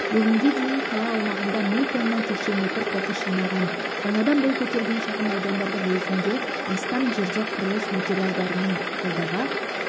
бүгінгі дейін қала аумағында мың тонна текше метр қоқыс жинаған жаңадан бой көтерген шағын аудандардың өзінде астам жерде құрылыс материалдарының қалдығы